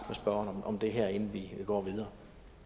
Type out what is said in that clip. spørgeren om det her inden vi går videre